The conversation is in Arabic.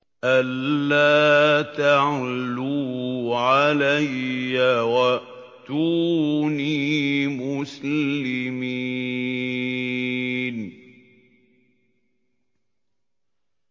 أَلَّا تَعْلُوا عَلَيَّ وَأْتُونِي مُسْلِمِينَ